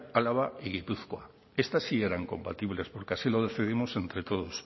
álava y gipuzkoa estas sí eran compatibles porque así lo decidimos entre todos